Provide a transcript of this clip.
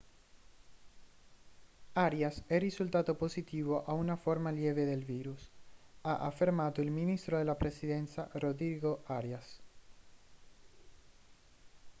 arias è risultato positivo a una forma lieve del virus ha affermato il ministro della presidenza rodrigo arias